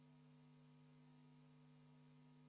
Tänast päevakorda me ei ava, sest päevakorras ühtegi punkti ei ole.